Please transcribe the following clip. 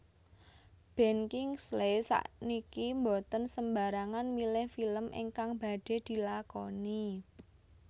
Ben Kingsley sakniki mboten sembarangan milih film ingkang badhe dilakoni